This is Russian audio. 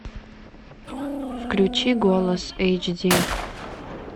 включи голос эйч ди